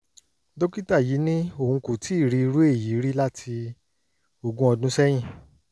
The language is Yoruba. dókítà yìí ní òun kò tíì rí irú èyí rí láti ogún ọdún sẹ́yìn